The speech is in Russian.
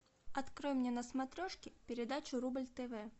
открой мне на смотрешке передачу рубль тв